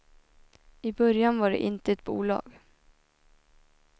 I början var det inte ett bolag.